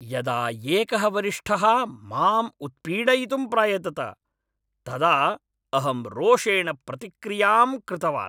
यदा एकः वरिष्ठः माम् उत्पीडयितुं प्रायतत, तदा अहं रोषेण प्रतिक्रियां कृतवान्।